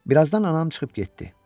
Birazdan anam çıxıb getdi.